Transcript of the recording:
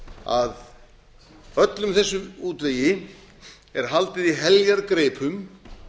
að öllum þessum útvegi er haldið í heljargreipum